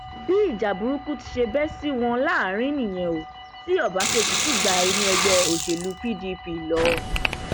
bí ìjà burúkú ti ṣe bẹ sí wọn láàrín nìyẹn o ti ọbaṣẹkí sì gba inú ẹgbẹ òṣèlú pdp lọ